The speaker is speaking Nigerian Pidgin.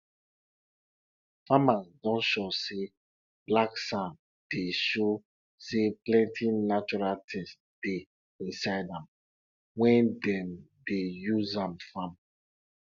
dey change the cloth wey you dey use um dey collect milk from animal every um time so that yama yama no go enter de um milk